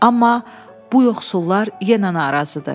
Amma bu yoxsullar yenə narazıdır.